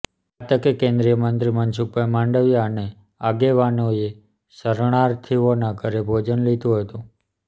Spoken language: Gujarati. આ તકે કેન્દ્રીય મંત્રી મનસુખભાઈ માંડવિયા અને આગેવાનોએ શરણાર્થીઓના ઘરે ભોજન લીધુ હતું